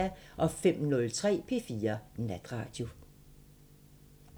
05:03: P4 Natradio